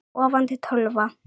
Sofandi tölva.